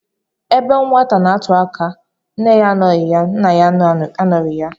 Ebe nwata n'atụ aka, nne ya anọghị ya, nna ya anoro ya.